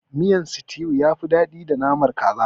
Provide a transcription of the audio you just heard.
Miyan situ yafi daɗi da naman kaza.